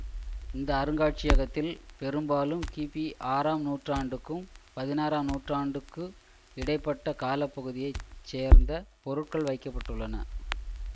இந்த அருங்காட்சியகத்தில் பெரும்பாலும் கிபி ஆறாம் நூற்றாண்டுக்கும் பதினாறாம் நூற்றாண்டுக்கு இடை பட்ட கால பகுதியை சேர்ந்த பொருட்கள் வைக்க பட்டுள்ளன